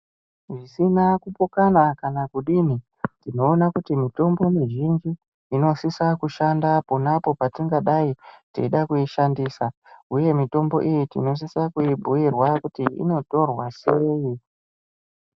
Zvisina kupokana kana kudini tinoona kuti mitombo mizhinji inosisa kushanda pona apo patingadai teida kuishandisa. Huye mitombo iyi tinosisa kuibhuirwa kuti inotorwa sei.